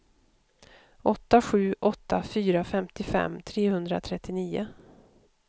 åtta sju åtta fyra femtiofem trehundratrettionio